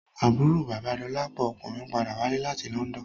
Àbúrò bàba Dolapo ọkùnrin padà wálé láti London